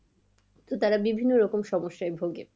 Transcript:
তো তারা বিভিন্ন রকম সমস্যায় ভোগে